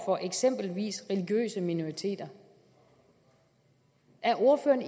for eksempelvis religiøse minoriteter er ordføreren